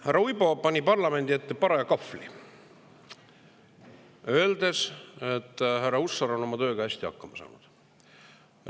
Härra Uibo parlamendi parajasse kahvlisse, öeldes, et härra Hussar on oma tööga hästi hakkama saanud.